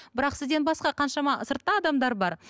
бірақ сізден басқа қаншама сыртта адамдар бар